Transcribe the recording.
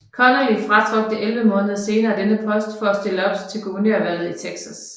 Connally fratrådte 11 måneder senere denne post for at stille op til guvernørvalget i Texas